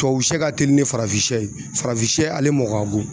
Tubabu sɛ ka teli ne farafin ye farafin ale mɔ ka go